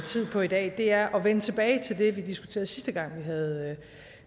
på i dag er at vende tilbage til det vi diskuterede sidste gang vi havde